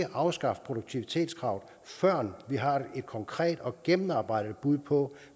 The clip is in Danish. afskaffe produktivitetskravet før vi har et konkret og gennemarbejdet bud på